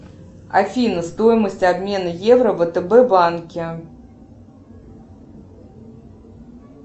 афина стоимость обмена евро в втб банке